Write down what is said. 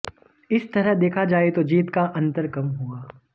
इस तरह देखा जाए तो जीत का अंतर कम हुआ